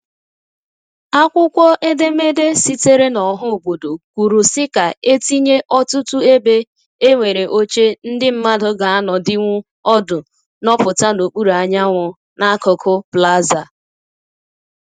Akwụkwọ edemede sitere na ọha obodo kwuru si ka e tinye ọtụtụ ebe e nwere oche ndị mmandu g'anọdinwu ọdụ nọputa n'okpuru anyanwu n'akụkụ Plaza.